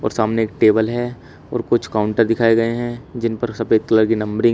और सामने एक टेबल है और कुछ काउंटर दिखाए गए हैं जिन पर सफेद कलर की नंबरिंग ह--